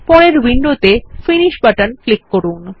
পরের উইন্ডোতে finish button click করুন